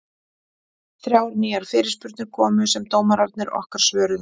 Þrjár nýjar fyrirspurnir komu sem dómararnir okkar svöruðu.